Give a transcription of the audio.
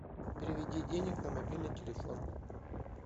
переведи денег на мобильный телефон